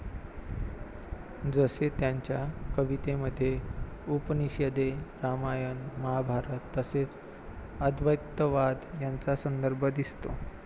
जसे त्यांच्या कवितेमध्ये 'उपनिषदे, रामायण, महाभारत तसेच, अद्वैतवाद यांचा संदर्भ दिसतो.